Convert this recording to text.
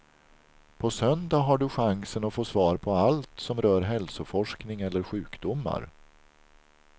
På söndag har du chansen att få svar på allt som rör hälsoforskning eller sjukdomar.